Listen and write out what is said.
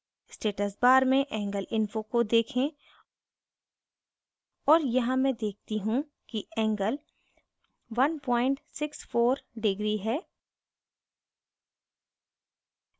status bar में angle info को देखें और यहाँ मैं देखती look कि angle 164° है